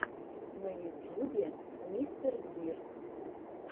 на ютьюбе мистер гир